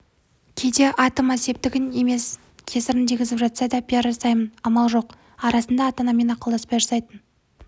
кейде атыма септігін емес кесірін тигізіп жатса да пиар жасаймын амал жоқ арасында ата-анаммен ақылдаспай жасайтын